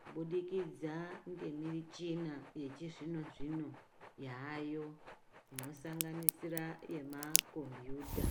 kubudikidza ngemichina yechizvinozvino yayo inosanganisira yemakombuta.